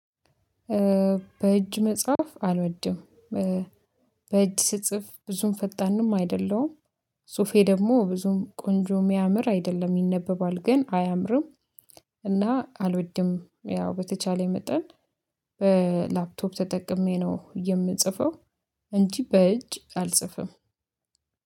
በእጅ መጽሐፍ አልወድም። በእጅ ስጽፍ ብዙም ፈጣንም አይደለሁም። ፁፌ ደግሞ ብዙም ቆንጆ የሚያምር አይደለም ይነበባል ግን አያምርም እና አልወድም። ያው በተቻለ መጠን በላፕቶፕ ተጠቅሜ ነው የምጽፈው። እንጂ በእጅ አልጽፍም።